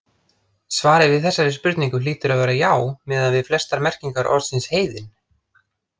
Svarið við þessari spurningu hlýtur að vera já, miðað við flestar merkingar orðsins heiðinn.